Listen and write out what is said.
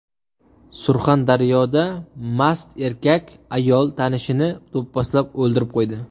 Surxondaryoda mast erkak ayol tanishini do‘pposlab o‘ldirib qo‘ydi.